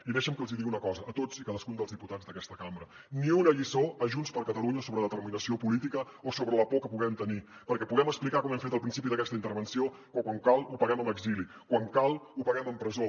i deixin que els hi digui una cosa a tots i cadascun dels diputats d’aquesta cambra ni una lliçó a junts per catalunya sobre determinació política o sobre la por que puguem tenir perquè podem explicar com hem fet al principi d’aquesta intervenció que quan cal ho paguem amb exili quan cal ho paguem amb presó